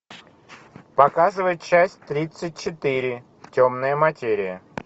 показывай часть тридцать четыре темная материя